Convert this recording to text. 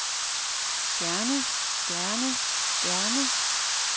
gerne gerne gerne